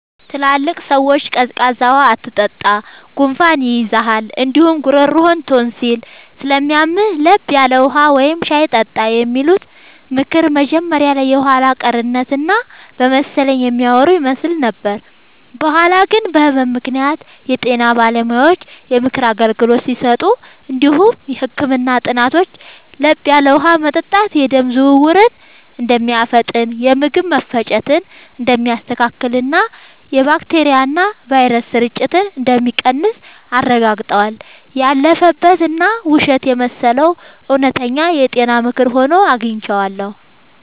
ትላልቅ ሰዎች “ቀዝቃዛ ውሃ አትጠጣ፣ ጉንፋን ይይዝሃል እንዲሁም ጉሮሮህን ቶንሲል ስለሚያምህ፤ ለብ ያለ ውሃ ወይም ሻይ ጠጣ” የሚሉት ምክር መጀመሪያ ላይ የኋላ ቀርነት እና በመሰለኝ የሚያወሩ ይመስል ነበር። በኋላ ግን በህመም ምክንያት የጤና ባለሙያዎች የምክር አገልግሎት ሲሰጡ እንዲሁም የህክምና ጥናቶች ለብ ያለ ውሃ መጠጣት የደም ዝውውርን እንደሚያፋጥን፣ የምግብ መፈጨትን እንደሚያስተካክልና የባክቴሪያና ቫይረስ ስርጭትን እንደሚቀንስ አረጋግጠዋል። ያለፈበት እና ውሸት የመሰለው እውነተኛ የጤና ምክር ሆኖ አግኝቼዋለሁ።